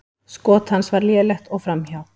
Skot hans var lélegt og framhjá.